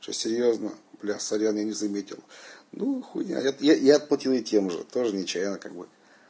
шести звёздную бля сорян я не заметил ну хуйня я я я отплатил ей тем же тоже нечаянно как бы